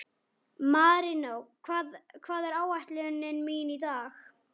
Marinó, hvað er á áætluninni minni í dag?